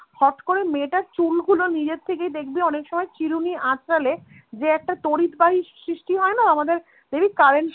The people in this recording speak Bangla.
হট করে মেয়েটার চুলগুলো নিজের থেকেই দেখবি অনেক সময় চিরুনি আঁচড়ালে যে একটা তড়িৎবাহী সৃষ্টি হয়না আমাদের দেখবি current